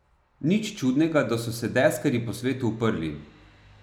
Nič čudnega, da so se deskarji po svetu uprli.